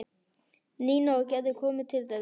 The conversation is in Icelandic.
Nína og Gerður komu til þeirra.